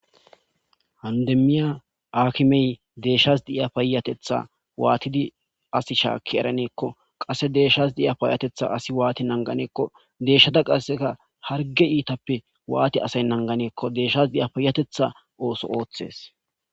hanu demmiya aakimey deeshshas diya paayatetha waatidi as shaakki eraneekko qasse deeshshas diya payyatetha asi waati nanganeekko deeshshata qasseka harge iitappe waati asay nanganeekko deeshshas di7a payatetha ooso ooththees